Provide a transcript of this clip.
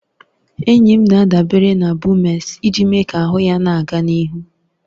Enyi m na-adabere na Bumex iji mee ka ahụ ya na-aga n'ihu